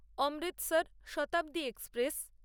Amritsar Shatabdi express